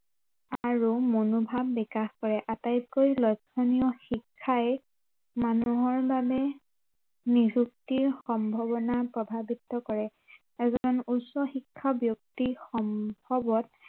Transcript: আৰু মনোভাৱ বিকাশ কৰে আটাইতকৈ লক্ষণীয় শিক্ষাই মানুহৰ বাবে নিযুক্তিৰ সম্বাৱনা প্ৰভাৱিত কৰে আৰু এজন উচ্চ শিক্ষা ব্য়ক্তি সম্ভৱত